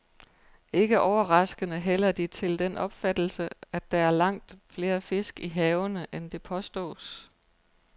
Ikke overraskende hælder de til den opfattelse, at der er langt flere fisk i havene, end det påstås.